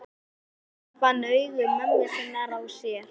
Hann fann augu mömmu sinnar á sér.